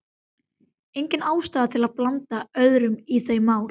Engin ástæða til að blanda öðrum í þau mál.